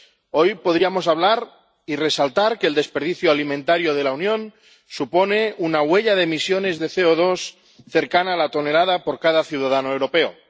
hoy podríamos hablar de que el desperdicio alimentario de la Unión supone una huella de emisiones de CO2 cercana a la tonelada por cada ciudadano europeo.